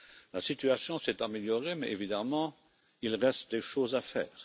La situation s'est améliorée, mais évidemment il reste des choses à faire.